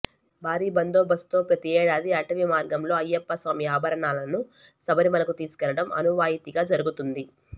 భారీ బందోబస్తుతో ప్రతిఏడాది అటవి మార్గంలో అయ్యప్ప స్వామి ఆభరణాలను శబరిమలకు తీసుకెళ్లడం అనవాయితీగా జరుగుతుంది